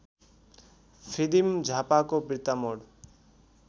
फिदिम झापाको बिर्तामोड